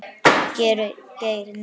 Geir Nei, en.